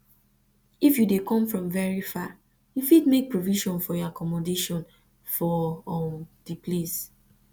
if you dey come from very far you fit make provision for your accommdation for um di place